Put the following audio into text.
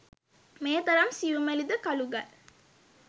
මේ තරම් සියුමැලි ද කළු ගල්